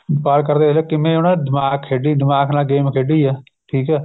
ਵਪਾਰ ਕਰਦੇ ਕਰਦੇ ਕਿਵੇਂ ਉਹਨਾ ਨੇ ਦਿਮਾਗ ਖੇਡੀ ਦਿਮਾਗ ਨਾਲ game ਖੇਡੀ ਏ ਠੀਕ ਏ